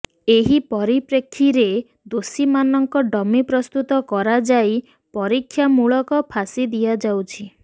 ଏହି ପରିପ୍ରେକ୍ଷୀରେ ଦୋଷୀମାନଙ୍କ ଡମି ପ୍ରସ୍ତୁତ କରାଯାଇ ପରୀକ୍ଷାମୂଳକ ଫାଶୀ ଦିଆଯାଉଛି